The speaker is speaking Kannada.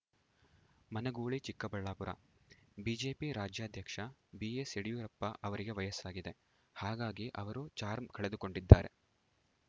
ಮನಗೂಳಿ ಚಿಕ್ಕಬಳ್ಳಾಪುರ ಬಿಜೆಪಿ ರಾಜ್ಯಾಧ್ಯಕ್ಷ ಬಿಎಸ್‌ ಯಡಿಯೂರಪ್ಪ ಅವರಿಗೆ ವಯಸ್ಸಾಗಿದೆ ಹಾಗಾಗಿ ಅವರು ಚಾರ್ಮ್ ಕಳೆದುಕೊಂಡಿದ್ದಾರೆ